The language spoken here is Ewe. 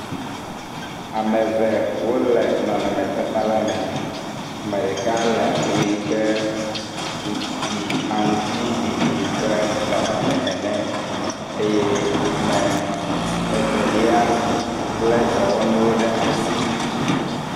Ame ve wole nɔnɔmetatala me. Ame ɖeka le awu yi ke ɖi aŋutsiɖiɖi ƒe nɔnɔme ene eye ame Evelia lé dɔwɔnuwo ɖe asi.